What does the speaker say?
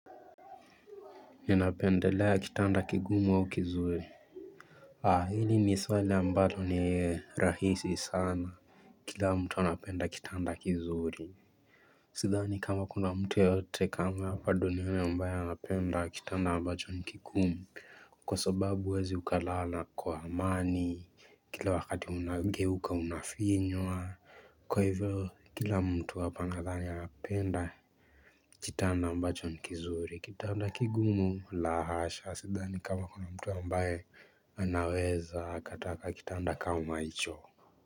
Je unapendelea kitanda kigumu au kizuri Haa hili ni swali ambalo ni rahisi sana Kila mtu anapenda kitanda kizuri Sidhani kama kuna mtu yoyote kama kwa dunia ambaye anapenda kitanda ambacho ni kigumu Kwa sababu huwezi ukalala kwa amani Kila wakati unageuka unafinywa Kwa hivyo kila mtu hapa nadhani anapenda Kitanda ambacho ni kizuri, kitanda kigumu la hasha, sidani kama kuna mtu ambaye anaweza kataka, kitanda kama icho.